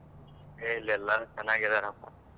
ಹೇ ಇಲ್ ಎಲ್ಲರು ಚೆನ್ನಾಗಿ ಇದ್ದಾರಪ.